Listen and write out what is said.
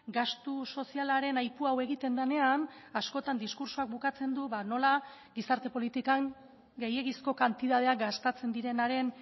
gastu sozialaren aipu hau egiten denean askotan diskurtsoak bukatzen du nola gizarte politikan gehiegizko kantitateak gastatzen direnaren